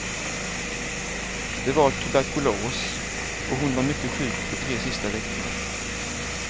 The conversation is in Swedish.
Det var tuberkulos och hon var mycket sjuk de tre sista veckorna.